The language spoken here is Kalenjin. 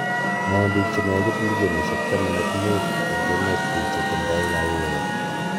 name biik che negit milionishek taman ak muut eng emet biik che tindai kayweet